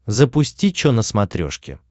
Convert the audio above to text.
запусти че на смотрешке